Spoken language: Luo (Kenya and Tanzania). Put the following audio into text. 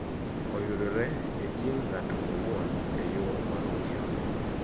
Oyudore e jin g'ato owuon e yo ma ongirore.